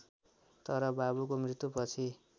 तर बाबुको मृत्युपछि